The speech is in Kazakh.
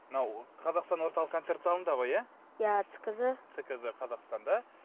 мынау қазақстан орталық концерт залыңда ғой иә цкз цкз қазастанда